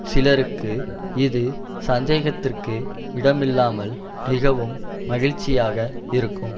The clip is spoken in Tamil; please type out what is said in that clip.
சிலருக்கு இது சந்தேகத்திற்கு இடமில்லாமல் மிகவும் மகிழ்ச்சியாக இருக்கும்